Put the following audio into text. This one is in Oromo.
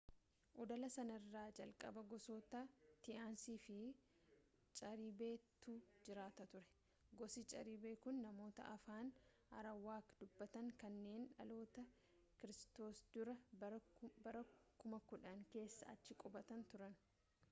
oddola sanarra jalqaba gosoota taínos fi caribe tu jiraata ture. gosi caribe kun namoota afaan arawaak dubbatan kanneen dhaloota kiristoos dura bara 10,000 keessa achi qubatan turan